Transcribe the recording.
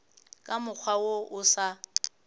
ka mokgwa wo o sa